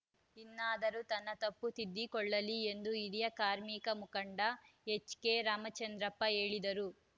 ಇನ್ನಾದರೂ ತನ್ನ ತಪ್ಪು ತಿದ್ದಿಕೊಳ್ಳಲಿ ಎಂದು ಹಿರಿಯ ಕಾರ್ಮಿಕ ಮುಖಂಡ ಎಚ್‌ಕೆರಾಮಚಂದ್ರಪ್ಪ ಹೇಳಿದರು